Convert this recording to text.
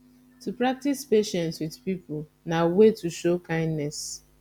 to practice patience with pipo na way to show kindness